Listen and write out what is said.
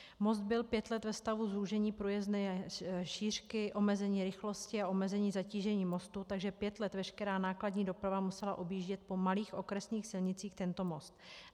Most byl pět let ve stavu zúžení průjezdné šířky, omezení rychlosti a omezení zatížení mostu, takže pět let veškerá nákladní doprava musela objíždět po malých okresních silnicích tento most.